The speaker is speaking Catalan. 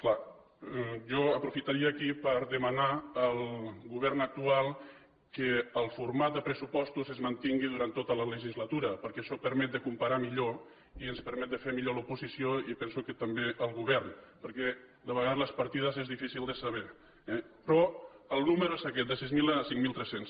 clar jo aprofitaria aquí per demanar al govern actual que el format de pressupostos es mantingui durant tota la legislatura perquè això permet de comparar millor i ens permet de fer millor a l’oposició i penso que també al govern perquè de vegades les partides són difícils de saber eh però el número és aquest de sis mil a cinc mil tres cents